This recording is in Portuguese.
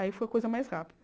Aí foi a coisa mais rápida.